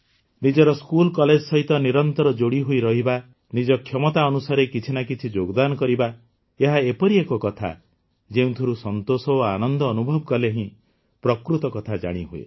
ନିଜର school college ସହିତ ନିରନ୍ତର ଯୋଡ଼ିହୋଇ ରହିବା ନିଜ କ୍ଷମତା ଅନୁସାରେ କିଛି ନା କିଛି ଯୋଗଦାନ କରିବା ଏହା ଏପରି ଏକ କଥା ଯେଉଁଥିରୁ ସନ୍ତୋଷ ଓ ଆନନ୍ଦ ଅନୁଭବ କଲେ ହିଁ ପ୍ରକୃତ କଥା ଜାଣିହୁଏ